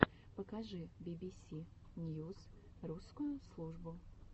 покажи бибиси ньюс русскую службу